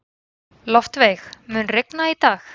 Loftveig, mun rigna í dag?